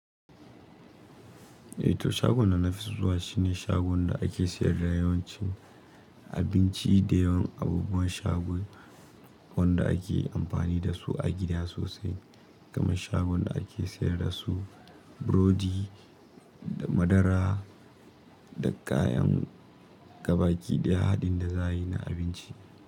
Eh to shagon da na fi zuwa shine shagon da ake sayar da yawancin abinci da yawan abubuwan shagon wanda ake amfani dasu a gida sosai, kamar shagon da ake sayar da su burodi da madara da kayan gabaki daya haɗin da za a yi na abinci.